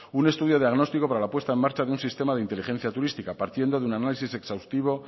un estudio diagnóstico para la puesta en marcha de un sistema de inteligencia turística partiendo de un análisis exhaustivo